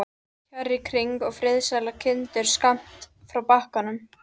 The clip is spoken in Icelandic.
Kjarr í kring, og friðsælar kindur skammt frá bakkanum.